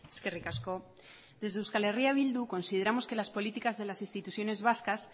eskerrik asko desde euskal herria bildu consideramos que las políticas de las instituciones vascas